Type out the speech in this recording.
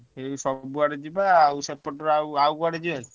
ସବୁ ଆଡେ ଯିବା ଆଉ ସେପଟ ର ଆଉ କୁଆଡେ ଯିବା କି?